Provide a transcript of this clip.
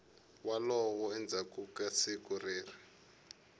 wolow endzhaku ka siku leri